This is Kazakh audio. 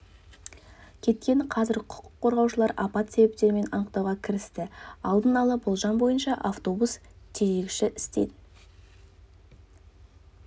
кеткен қазір құқық қорғаушылар апат себептерін анықтауға кірісті алдын ала болжам бойынша автобус тежегіші істен